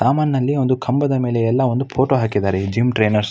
ಸಾಮಾನಿನಲ್ಲಿ ಒಂದು ಕಂಬದ ಮೇಲೆ ಎಲ್ಲ ಒಂದು ಫೋಟೋ ಹಾಕಿದ್ದಾರೆ. ಈ ಜಿಮ್ ಟ್ರೈನೆರ್ಸ್ --